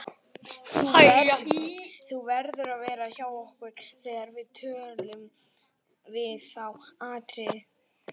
Þú verður að vera hjá okkur þegar við tölun við þá Atriði.